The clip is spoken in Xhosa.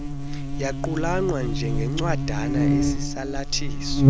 yaqulunqwa njengencwadana esisalathiso